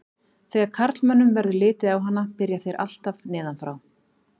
Þegar karlmönnum verður litið á hana byrja þeir alltaf neðan frá.